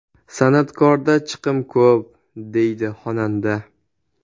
San’atkorda chiqim ko‘p”, deydi xonanda.